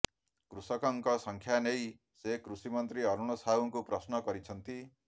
କୃଷକଙ୍କ ସଂଖ୍ୟା ନେଇ ସେ କୃଷି ମନ୍ତ୍ରୀ ଅରୁଣ ସାହୁଙ୍କୁ ପ୍ରଶ୍ନ କରିଛନ୍ତି